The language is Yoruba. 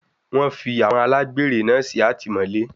Wọ́n fi àwọn alágbèré náà sí àtìmọ́lé.